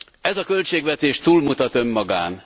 Ez a költségvetés túlmutat önmagán.